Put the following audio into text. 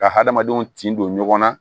Ka hadamadenw tin don ɲɔgɔn na